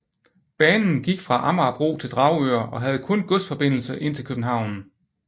Banen gik fra Amagerbro til Dragør og havde kun godsforbindelse ind til København